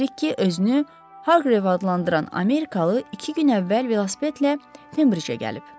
Bilirk ki, özünü Harqrev adlandıran amerikalı iki gün əvvəl velosipedlə Fenbricə gəlib.